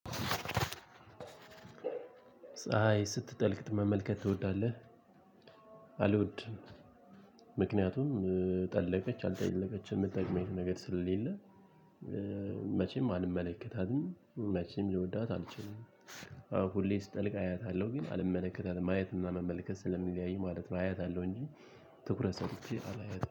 ፀሀይ ስትጠልቅ መመልከት ትወዳለህ? አልወድም ምክንያቱም ጠለቀች አልጠለቀች የምትጠቅመኝ ነገር ስለሌለ። መቼም አልመለከታትም መቼም ልወዳት አልችልም። ሁሌ ስጠልቅ አያታለሁ ግን አልመለከታትም ማየትና መመልከት ስለሚለያይ ማለት ነው። አያታለው እንጂ ትኩረት ሰጥቼ አላያትም